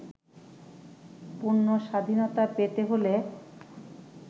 পূর্ণ স্বাধীনতা পেতে হলে